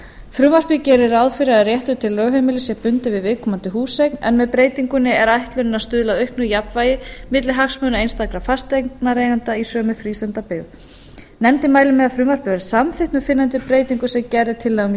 frumvarpið gerir ráð fyrir að réttur til lögheimilis sé bundinn við viðkomandi húseign en með breytingunni er ætlunin að stuðla að auknu jafnvægi milli hagsmuna einstakra fasteignaeigenda í sömu frístundabyggðum nefndin mælir með að frumvarpið verði samþykkt með fyrrnefndum breytingum sem gerð er tillaga um í